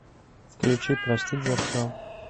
включи простить за все